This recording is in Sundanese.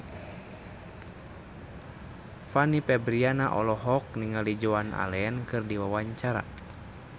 Fanny Fabriana olohok ningali Joan Allen keur diwawancara